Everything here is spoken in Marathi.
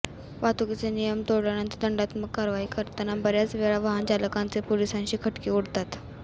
वाहतूकीचे नियम तोडल्यावर दंडात्मक कारवाई करताना बऱ्याच वेळा वाहनचालकांचे पोलिसांशी खटके उडतात